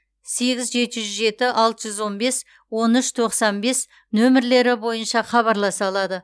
сегіз жеті жүз жеті алты жүз он бес он үш тоқсан бес нөмірлері бойынша хабарласа алады